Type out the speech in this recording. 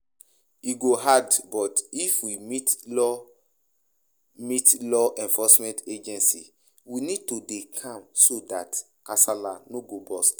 e go hard but if we meet law meet law enforcement agents we need to dey calm so dat casala no go burst